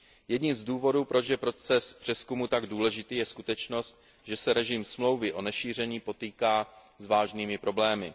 Jedním z důvodů, proč je proces přezkumu tak důležitý, je skutečnost, že se režim Smlouvy o nešíření potýká s vážnými problémy.